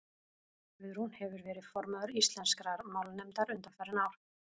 guðrún hefur verið formaður íslenskrar málnefndar undanfarin ár